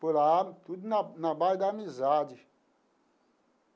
Por lá, tudo na na base da amizade.